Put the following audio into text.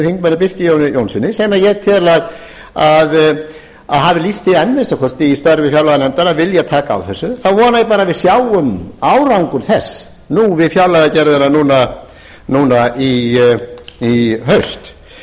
þingmönnum birki jóni jónssyni sem ég tel að hafi lýst því enn að minnsta kosti í störfum fjárlaganefndar að vilja taka á þessu þá vona ég bara að við sjáum árangur þess við fjárlagagerðina núna í haust